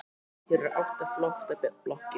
Hér eru átta flottar blokkir.